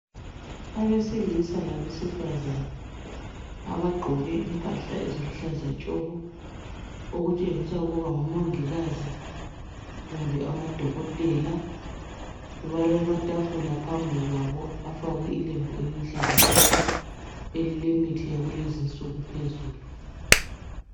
Abesilisa labesifazane abagqoke impahla eziluhlaza tshoko okutshengisa ukuba ngo mongikazi kumbe amadokotela balamatafula phambi kwabo afakwe ilembu eliluhlaza tshoko elilemithi yakulezinsuku phezulu